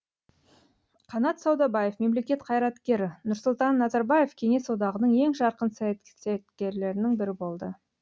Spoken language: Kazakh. қанат саудабаев мемлекет қайраткері нұрсұлтан назарбаев кеңес одағының ең жарқын саяткерлерінің бірі болды